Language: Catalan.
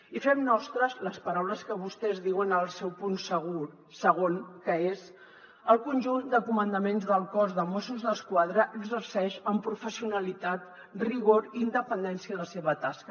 i fem nostres les paraules que vostès diuen al seu punt segon que són el conjunt de comandaments del cos de mossos d’esquadra exerceix amb professionalitat rigor i independència la seva tasca